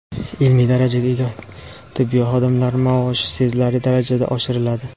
Ilmiy darajaga ega tibbiy xodimlar maoshi sezilarli darajada oshiriladi.